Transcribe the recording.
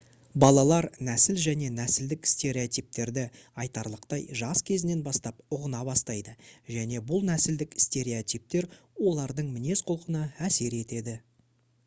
балалар нәсіл және нәсілдік стереотиптерді айтарлықтай жас кезінен бастап ұғына бастайды және бұл нәсілдік стереотиптер олардың мінез-құлқына әсер етеді